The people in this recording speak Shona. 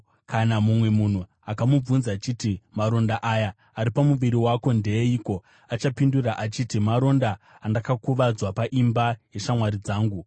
Kana mumwe munhu akamubvunza achiti, ‘Maronda aya ari pamuviri wako ndeeiko?’ achapindura achiti, ‘Maronda andakakuvadzwa paimba yeshamwari dzangu.’